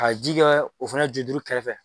Ka ji kɛ o fana ju duuru kɛrɛfɛ